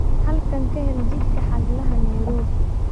halkan ka hel jidka xaglaha nairobi